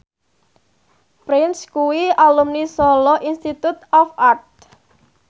Prince kuwi alumni Solo Institute of Art